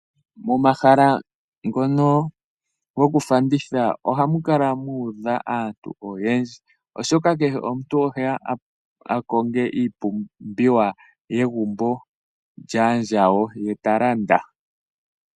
Momahala ngono gokufanditha ohamu kala mu udha aantu oyendji, oshoka kehe omuntu oheya a konge iipumbiwa yegumbo lyaandjawo, ye ta landa.